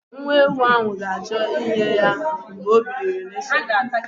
Nwa ewu ahụ ga-achọ nne ya mgbe o biliri n'isi ụtụtụ.